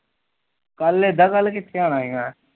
ਕੱਲ ਇਦਾ ਕੱਲ ਕਿਥੇ ਆਣਾ